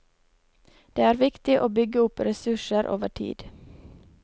Det er viktig å bygge opp ressurser over tid.